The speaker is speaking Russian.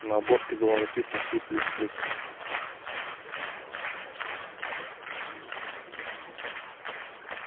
на обложке было написано си плюс плюс